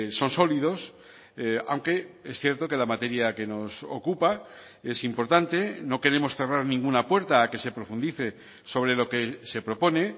son sólidos aunque es cierto que la materia que nos ocupa es importante no queremos cerrar ninguna puerta que se profundice sobre lo que se propone